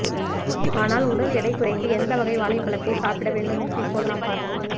ஆனால் உடல் எடை குறைக்க எந்த வகை வாழைப்பழத்தை சாப்பிட்ட வேண்டும் என்று இப்போது நாம் பார்ப்போம்